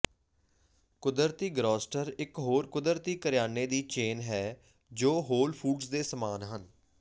ਕੁਦਰਤੀ ਗਰੌਸਟਰ ਇਕ ਹੋਰ ਕੁਦਰਤੀ ਕਰਿਆਨੇ ਦੀ ਚੇਨ ਹੈ ਜੋ ਹੋਲ ਫੂਡਜ਼ ਦੇ ਸਮਾਨ ਹੈ